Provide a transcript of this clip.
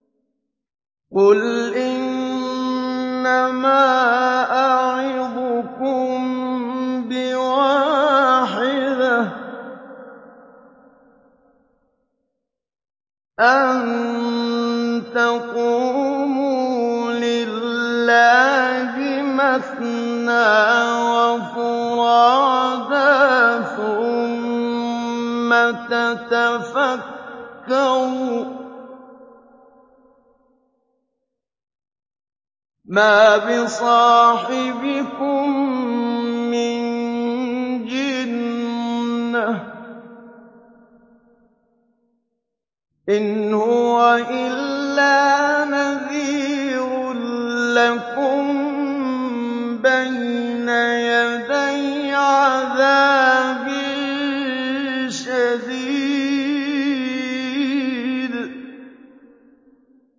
۞ قُلْ إِنَّمَا أَعِظُكُم بِوَاحِدَةٍ ۖ أَن تَقُومُوا لِلَّهِ مَثْنَىٰ وَفُرَادَىٰ ثُمَّ تَتَفَكَّرُوا ۚ مَا بِصَاحِبِكُم مِّن جِنَّةٍ ۚ إِنْ هُوَ إِلَّا نَذِيرٌ لَّكُم بَيْنَ يَدَيْ عَذَابٍ شَدِيدٍ